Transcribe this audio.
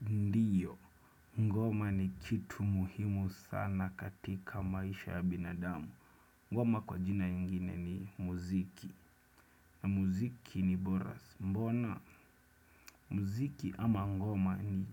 Ndio. Ngoma ni kitu muhimu sana katika maisha ya binadamu. Ngoma kwa jina ingine ni muziki. Na muziki ni boras. Mbona, muziki ama ngoma ni